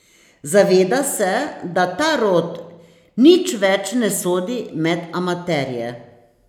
Zaveda se, da ta rod nič več ne sodi med amaterje.